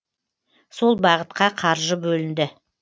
сол бағытқа қаржы бөлінді